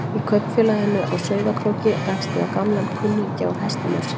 Í kaupfélaginu á Sauðárkróki rekst ég á gamlan kunningja úr hestamennskunni.